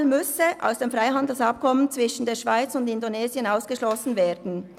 Palmöl müsse aus dem Freihandelsabkommen zwischen der Schweiz und Indonesien ausgeschlossen werden.